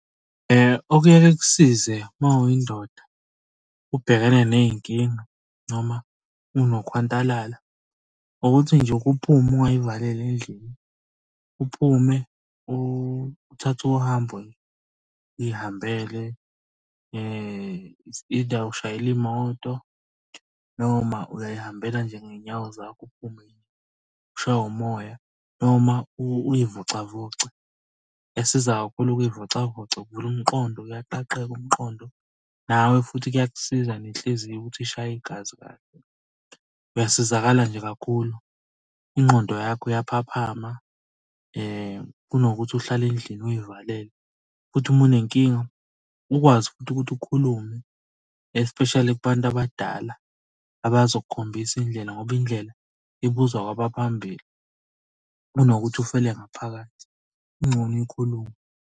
Okunyeke kusize, uma uyindoda, ubhekene ney'nkinga noma unokhwantalala ukuthi nje uke uphume ungay'valeli endlini. Uphume uthathe uhambo uy' hambele. It's either ushayela imoto, noma uyay'hambela nje ngey'nyawo zakho uphume kini. Ushaywe umoya noma uy'vocavoce. Kuyasiza kakhulu ukuy'vocavoca kuvula umqondo, uyaqaqeka umqondo nawe futhi kuyakusiza nenhliziyo ukuthi ishaye igazi kahle. Uyasizakala nje kakhulu, ingqondo yakho iyaphaphama, kunokuthi uhlale endlini uy'valele futhi uma unenkinga ukwazi futhi ukuthi ukhulume, especially kubantu abadala abazokukhombisa indlela ngoba indlela ibuzwa kwabaphambili. Kunokuthi ufele ngaphakathi, kungcono ukhulume.